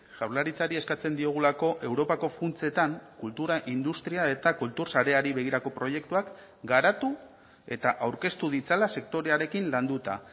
jaurlaritzari eskatzen diogulako europako funtsetan kultura industria eta kultur sareari begirako proiektuak garatu eta aurkeztu ditzala sektorearekin landuta